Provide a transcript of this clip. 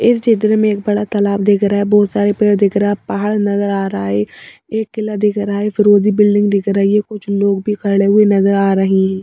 इस चित्र में एक बड़ा तालाब दिख रहा है बहुत सारे पेड़ दिख रहा पहाड़ नजर आ रहा ऐ एक किला दिख रहा है फिरोजी बिल्डिंग दिख रही है कुछ लोग भी खड़े हुए नजर आ रही हैं।